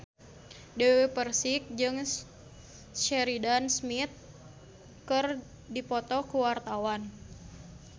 Dewi Persik jeung Sheridan Smith keur dipoto ku wartawan